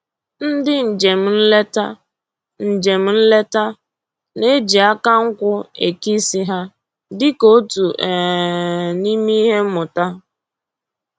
Ndị njem nleta njem nleta na-eji aka nkwụ eke isi ha dịka otu um n'ime ihe mmụta